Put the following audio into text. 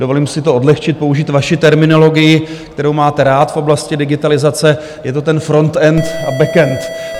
Dovolím si to odlehčit, použít vaši terminologii, kterou máte rád v oblasti digitalizace - je to ten frontend a backend.